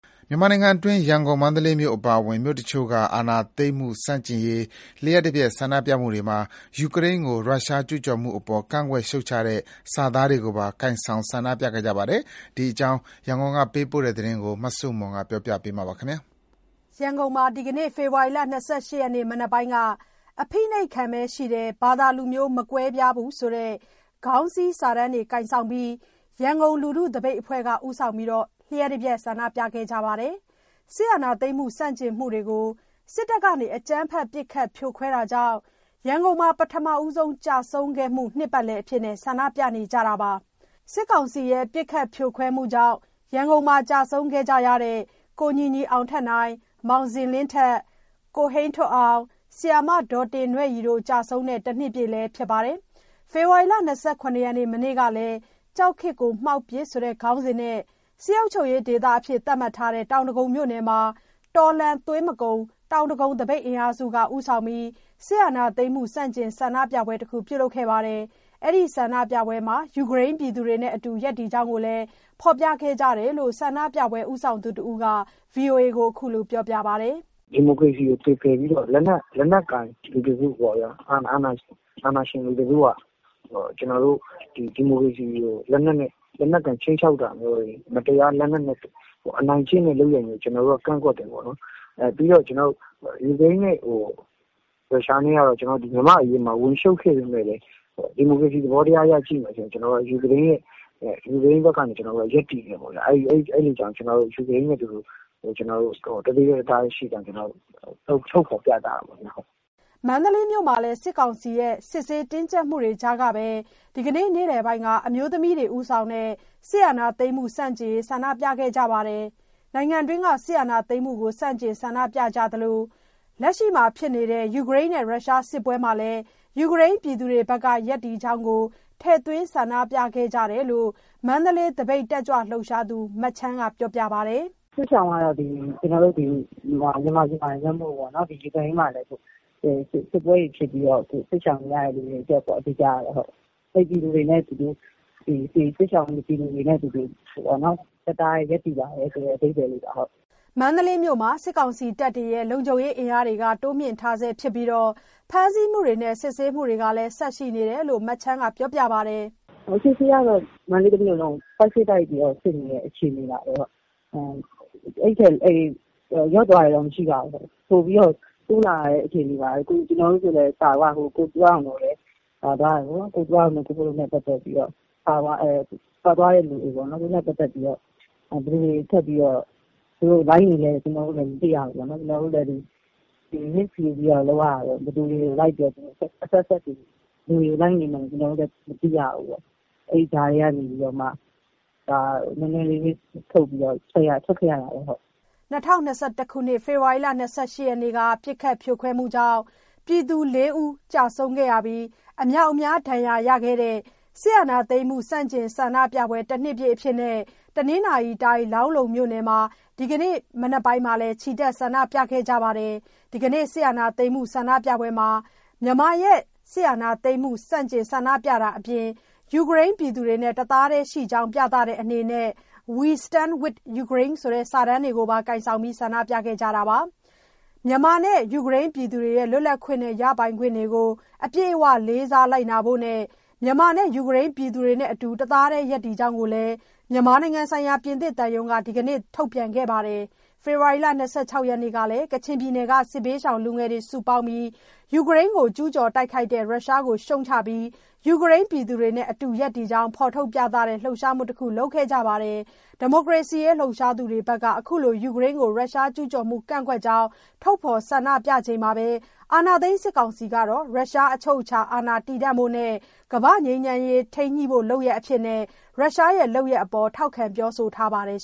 မြန်မာနိုင်ငံတွင်း ရန်ကုန်၊ မန္တလေးမြို့အပါအဝင် မြို့တချို့က စစ်အာဏာသိမ်းမှုဆန့်ကျင်ရေးလျှပ်တပြက်ဆန္ဒပြမှုတွေမှာ ယူကရိန်းကို ရုရှားကျူးကျော်မှုအပေါ်ကန့်ကွက်ရှုတ်ချတဲ့ စာသားတွေကိုပါ ကိုင်ဆောင်ဆန္ဒပြခဲ့ကြပါတယ်။ ဒီအကြောင်း ရန်ကုန်ကပေးပို့တဲ့သတင်းကို မဆုမွန်က တင်ပြပေးထားပါတယ်။ ရန်ကုန်မှာ ဒီကနေ့ ဖေဖော်ဝါရီ ၂၈ ရက်နေ့ မနက်ပိုင်းက ‘အဖိနှိပ်ခံပဲရှိတယ်။ ဘာသာ၊ လူမျိုး မကွဲပြားဘူး’ ဆိုတဲ့ ခေါင်းစည်းစာတန်းကိုင်ပြီး ရန်ကုန်လူထုသပိတ်အဖွဲ့က ဦးဆောင်ပြီး လျှပ်တပြက် ဆန္ဒပြခဲ့ကြပါတယ်။ စစ်အာဏာသိမ်းဆန့်ကျင်မှုတွေကို စစ်တပ်က အကြမ်းဖက်ပစ်ခတ်ဖြိုခွဲတာကြောင့် ရန်ကုန်မှာပထမဆုံးကျဆုံးခဲ့မှု နှစ်ပတ်လည်အဖြစ်နဲ့ ဆန္ဒပြကြတာပါ။ စစ်ကောင်စီရဲ့ ပစ်ခတ်ဖြိုခွဲမှုကြောင့် ရန်ကုန်မှာ ကျဆုံးခဲ့ကြတဲ့ ကိုညီညီအောင်ထက်နိုင်၊ မောင်ဇင်လင်းထက်၊ ကိုဟိန်းထွဋ်အောင်၊ ဆရာမ ဒေါ်တင်နွဲ့ရီ တို့ ကျဆုံးတဲ့တနှစ်ပြည့်လည်းဖြစ်ပါတယ်။ ဖေဖော်ဝါရီ ၂၇ ရက် မနေ့ကလည်း ‘ကြောက်ခေတ်ကို မှောက်ပစ်’ ခေါင်းစဉ်နဲ့ စစ်အုပ်ချုပ်ရေးဒေသအဖြစ် သတ်မှတ်ထားတဲ့ တောင်ဒဂုံမြို့နယ်မှာ ‘တော်လှန်သွေးမကုန် တောင်ဒဂုံ သပိတ်အင်အားစု’က ဦးဆောင်ပြီး စစ်အာဏာသိမ်းမှု ဆန့်ကျင်ဆန္ဒပြပွဲတခု ပြုလုပ်ခဲ့ကြပါတယ်။ အဲ့ဒီ ဆန္ဒပြပွဲမှာ ယူကရိန်းပြည်သူတွေနဲ့အတူ ရပ်တည်ကြောင်းကိုလည်း ဖော်ပြခဲ့ကြတယ်လို့ ဆန္ဒပြပွဲ ဦးဆောင်သူတစ်ဦးက VOA ကို ခုလိုပြောပါတယ်။ “ဒီမိုကရေစီကို သွေဖည်ပြီးတော့ပေါ့ လက်နက်ကိုင် အာဏာရှင် လူတစုက ကျနော်တို့ရဲ့ ဒီမိုကရေစီမြေတွေကို မတရား လက်နက်ကိုင် ခြိမ်းခြောက်တာမျိုးတွေ အနိုင်ကျင့်တဲ့ လုပ်ရပ် မျိုးတွေကို ကန့်ကွက်တယ်ပေါ့နော်။ ယူကရိန်းနဲ့ရုရှားက မြန့်မာ့အရေးမှာ ဝင်ရှုပ်ခဲ့ပေမယ့်လည်း ဒီမိုကရေစီ သဘောတရားအရ ကြည့်မယ်ဆိုရင် ယူကရိန်းဘက်ကနေ ကျနော်တို့ ရပ်တည်တယ်ပေါ့ဗျာ။ အဲ့ဒါကြောင့် ယူကရိန်းနဲ့အတူတူ တသွေးတည်းတသားတည်း ရှိကြောင်း ထုတ်ဖော်ပြသတာပေါ့။” မန္တလေးမြို့မှာလည်း စစ်ကောင်စီရဲ့ စစ်ဆေးတင်းကြပ်မှုတွေ ကြားကပဲ ဒီကနေ့ နေ့လယ်က အမျိုးသမီးတွေ ဦးဆောင်တဲ့ စစ်အာဏာသိမ်းမှု ဆန့်ကျင်ရေး ဆန္ဒပြခဲ့ကြပါတယ်။ နိုင်ငံတွင်းက စစ်အာဏာသိမ်းမှုကို ဆန့်ကျင်ဆန္ဒပြကြသလို လက်ရှိဖြစ်နေတဲ့ ယူကရိန်းနဲ့ ရုရှားစစ်ပွဲမှာ ယူကရိန်း ပြည်သူတွေဘက်က ရပ်တည်ကြောင်းကိုလည်း ထည့်သွင်းဆန္ဒပြခဲ့ကြတယ်လို့ မန္တလေးသပိတ်တက်ကြွလှုပ်ရှားသူ မချမ်းက ပြောပါတယ်။ “စစ်ရှောင်တွေက ဒီမြန်မာမှာတင်မက ယူကရိန်းမှာလည်း စစ်ပွဲတွေ ဖြစ်ပြီးတော့ စစ်ရှောင်နေရတဲ့သူတွေအတွက်ပေါ့နှော်။ အဲ့ဒီစစ်ရှောင်နေရတဲ့ ပြည်သူတွေနဲ့ အတူတူ တသားတည်းရပ်တည်ပါတယ်ဆိုတဲ့ အဓိပ္ပာယ်လေးပါ။” မန္တလေးမြို့မှာ စစ်ကောင်စီတပ်တွေရဲ့ လုံခြုံရေးအင်းအားတွေက တိုးမြင့်ထားဆဲ ဖြစ်ပြီးတော့ ဖမ်းဆီးမှုတွေနဲ့ စစ်ဆေးမှုတွေကလည်း ဆက်ရှိနေတယ်လို့ မချမ်းက ပြောပါတယ်။ “လက်ရှိတော့ မန္တလေးတစ်မြို့လုံးကို ပိုက်စိပ်တိုက်ပြီးစစ်နေတဲ့ အခြေအနေပါပဲ။ လျော့သွားတယ်လို့တော့ မရှိဘူး။ ပိုတိုးလာနေတဲ့ အနေအထားပါပဲ။ ဟိုတခေါက်က ကိုသူရအောင်တို့ ပါသွားတော့ သူတို့နဲ့ ပတ်သက်ပြီး ပါသွားတဲ့သူတွေလည်း ရှိတော့ အဲ့ဒါနဲ့ ပတ်သက်ပြီး ဘယ်လိုတွေ လိုက်နေလဲဆိုတာလည်း မသိရဘူးလေ။ ဘယ်သူတွေကို လိုက်နေမှန်းမသိရဘူးပေါ့။ အဲ့ကြားထဲကမှ risk ယူပြီး ထွက်ခဲ့ရတာပေါ့။” ၂၀၂၁ ခုနှစ် ဖေဖော်ဝါရီ ၂၈ ရက်နေ့က ပစ်ခတ်ဖြိုခွဲမှုကြောင့် ပြည်သူ ၄ ဦး ကျဆုံးပြီး အများအပြား ဒဏ်ရာရခဲ့တဲ့ စစ်အာဏာသိမ်းမှု ဆန့်ကျင်ဆန္ဒပြပွဲ တနှစ်ပြည့် အဖြစ် တနင်္သာရီတိုင်း လောင်းလုံမြို့နယ်မှာ ဒီကနေ့မနက်က ချီတက် ဆန္ဒပြခဲ့ကြပါတယ်။ ဒီကနေ့ စစ်အာဏာသိမ်းမှု ဆန္ဒပြပွဲမှာ မြန်မာရဲ့ စစ်အာဏာသိမ်းမှုဆန့်ကျင်တာအပြင် ယူကရိန်းပြည်သူတွေနဲ့ တသားတည်းရှိကြောင်း ပြတဲ့အနေနဲ့ ‘WE stand with Ukarine’ စာတန်းကိုပါ ကိုင်ပြီး ဆန္ဒပြခဲ့ကြတာပါ။ မြန်မာနဲ့ ယူကရိန်းပြည်သူတွေရဲ့ လွတ်လပ်ခွင့်နဲ့ ရပိုင်ခွင့်တွေကို အပြည့်အဝ လေးစားလိုက်နာဖို့နဲ့ မြန်မာနဲ့ ယူကရိန်း ပြည်သူတွေနဲ့အတူ တစ်သားတည်းရပ်တည်ကြောင်း မြန်မာနိုင်ငံဆိုင်ရာ ပြင်သစ်သံရုံးကလည်း ဒီကနေ့ ထုတ်ပြန်ခဲ့ပါတယ်။ ဖေဖော်ဝါရီ ၂၆ ရက်နေ့ကလည်း ကချင်ပြည်နယ်က စစ်ဘေးရှောင်လူငယ်တွေစုပေါင်းပြီး ယူကရိန်းကို ကျူးကျော်တိုက်ခိုက်တဲ့ ရုရှားကို ရှုတ်ချပြီး ယူကရိန်း ပြည်သူတွေနဲ့ အတူရပ်တည်ကြောင်း ဖော်ထုတ်ပြသတဲ့ လှုုပ်ရှားမှုတခု လုပ်ခဲ့ကြပါတယ်။ ဒီမိုကရေစီရေးလှုပ်ရှားသူတွေဘက်က အခုလို ယူကရိန်းကို ရုရှားကျူးကျော်မှု ကန့်ကွက်ကြောင်း ထုတ်ဖော်ဆန္ဒပြချိန်မှာပဲ အာဏာသိမ်းစစ်ကောင်စီကတော့ ရုရှားအချုပ်အချာအာဏာတည်တံဖို့နဲ့ ကမ္ဘာ့ငြိမ်းချမ်းရေးထိမ်းညှိုဖို့ လုပ်ရပ်အဖြစ် ရုရှားလုပ်ရပ်ကို ထောက်ခံပြောဆိုထားပါတယ်